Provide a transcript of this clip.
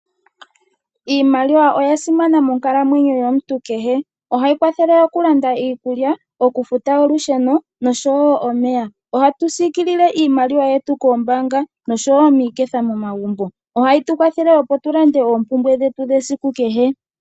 Iimaliwa oya simana moonkalamwenyo yomuntu kehe. Ohayi kwathele oku landa iikulya, oku futa olusheno nosho woo oosikola. Ohatu siikilile iimaliwa yetu koombaanga nosho woo miiketha momagumbo. Ohayi tu kwathele opo tu lande oompumbwe dhetu dhesiku kehe.